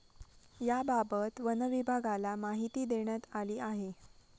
याबाबत वनविभागाला माहिती देण्यात आली आहे.